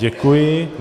Děkuji.